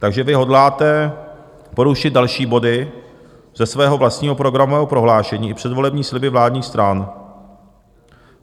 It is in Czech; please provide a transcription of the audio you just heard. Takže vy hodláte porušit další body ze svého vlastního programového prohlášení i předvolební sliby vládních stran.